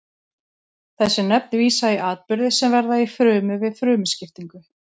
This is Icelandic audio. Þessi nöfn vísa í atburði sem verða í frumu við frumuskiptingu.